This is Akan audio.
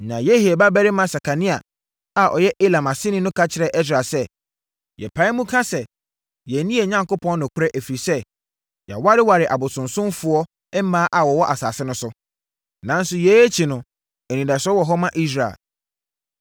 Na Yehiel babarima Sekania a ɔyɛ Elam aseni no ka kyerɛɛ Ɛsra sɛ, “Yɛpae mu ka sɛ yɛanni yɛn Onyankopɔn nokorɛ, ɛfiri sɛ, yɛawareware abosonsomfoɔ mmaa a wɔwɔ asase no so. Nanso, yei akyi no, anidasoɔ wɔ hɔ ma Israel.